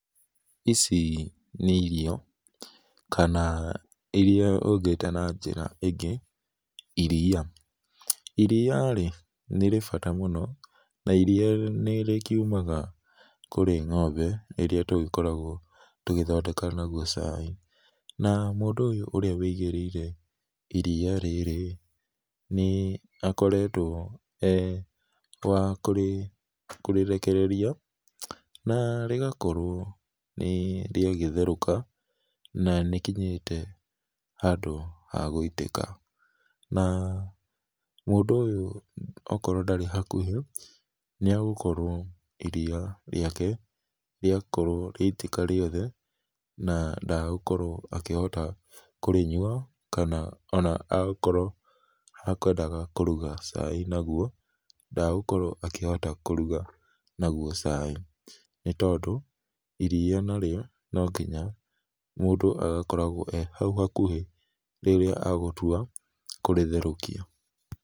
Ici nĩ irio, kana iria ũngĩta na njĩra ĩngĩ, iria. Iria-rĩ nĩrĩ bata mũno na iria nĩrĩkiumaga kũrĩ ng'ombe, ĩrĩa tũgĩkoragwo tũgĩthondeka naguo cai. Na, mũndũ ũyũ ũrĩa wĩigĩrĩire iria rĩrĩ-rĩ, nĩakoretwo e wa kũrĩrekereria na rĩgakorwo nĩrĩagĩtherũka, na nĩkinyĩte handũ ha gũitĩka. Na, mũndũ ũyũ okorwo ndarĩ hakuhĩ, nĩagũkorwo iria riake rĩakorwo rĩaitĩka rĩothe, na ndagũkorwo akĩhota kũrĩnyua, ona akorwo ekwendaga kũruga cai naguo, ndagũkorwo akĩhota kũruga naguo cai, nĩ tondũ iria narĩo, no nginya mũndũ agakoragwo e hau hakuhĩ rĩrĩa agũtua kũrĩtherũkia.